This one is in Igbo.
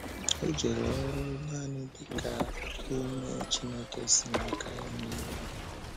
O jere oru nanị dị ka onye Chineke si n’aka ya nye iwu.